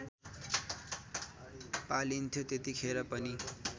पालिन्थ्यो त्यतिखेर पनि